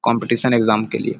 competition exam के लिए --